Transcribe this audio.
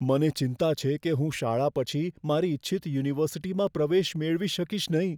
મને ચિંતા છે કે હું શાળા પછી મારી ઇચ્છિત યુનિવર્સિટીમાં પ્રવેશ મેળવી શકીશ નહીં.